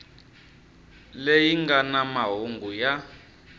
leyi nga na mahungu ya